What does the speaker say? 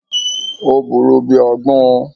Ò buurú bíi agbón